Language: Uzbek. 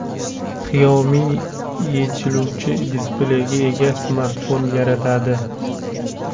Xiaomi yechiluvchi displeyga ega smartfon yaratadi.